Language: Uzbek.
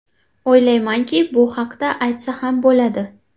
O‘ylaymanki, bu haqda aytsa ham bo‘ladi”.